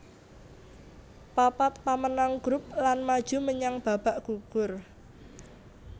Papat pamenang grup lan maju menyang babak gugur